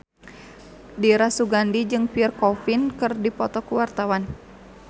Dira Sugandi jeung Pierre Coffin keur dipoto ku wartawan